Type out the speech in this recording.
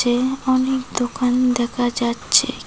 এ অনেক দোকান দেখা যাচ্ছে কি--